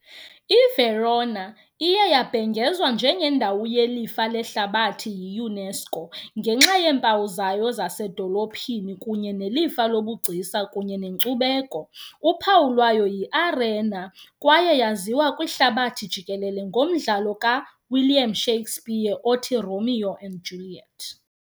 I-Verona iye yabhengezwa njengendawo yelifa lehlabathi yi- UNESCO ngenxa yeempawu zayo zasezidolophini kunye nelifa lobugcisa kunye nenkcubeko. Uphawu lwayo yiArena kwaye yaziwa kwihlabathi jikelele ngomdlalo kaWilliam Shakespeare othi "Romeo and Juliet" .